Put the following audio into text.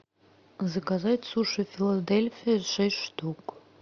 заказать суши филадельфия шесть штук